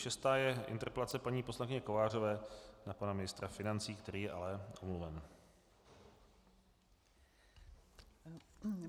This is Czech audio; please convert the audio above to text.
Šestá je interpelace paní poslankyně Kovářové na pana ministra financí, který je ale omluven.